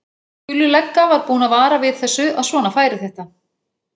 Gulli lögga var búinn að vara við þessu, að svona færi þetta.